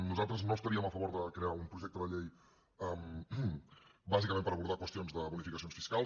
nosaltres no estaríem a favor de crear un projecte de llei bàsicament per abordar qüestions de bonificacions fiscals